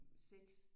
6